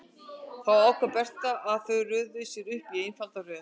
Þá ákvað Berta að þau röðuðu sér upp í einfalda röð.